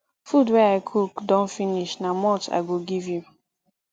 food wey i cook don finish na malt i go give you